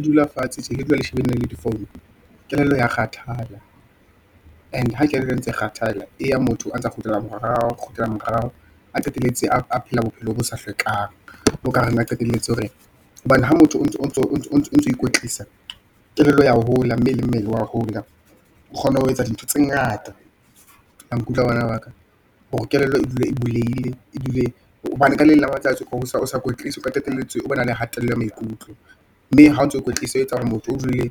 Dula fatshe, ntse ke dula ke shebane le di- form kelello ya kgathala, and ha kelello e ntse e kgathala, e ya motho, a ntsa kgutlela morao, a qetelletse a phela bophelo bo sa hlwekang. O ka reng a ne qetelletse hore, hobane ha motho o ntso Ikwetlisa, kelello ya hola, mme le mmele wa hola, o kgone ho etsa dintho tse ngata, la nkutlwa bana ba ka, hore kelello e dule e bulehile, e dule hobane ka leng la matsatsi ho sa kwetliso, o ka qetelletse o be na le kgatello ya maikutlo, mme ha o ntso o ikwetlisa, ho e etsa hore motho o dule